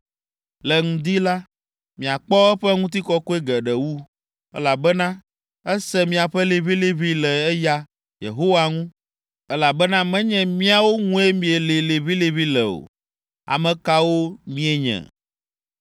Le ŋdi la, miakpɔ eƒe ŋutikɔkɔe geɖe wu, elabena ese miaƒe liʋĩliʋĩlilĩ le eya, Yehowa ŋu, elabena menye míawo ŋue mielĩ liʋĩliʋĩ le o. Ame kawo míenye?”